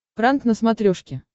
пранк на смотрешке